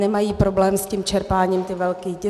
nemají problém s tím čerpáním ti velcí.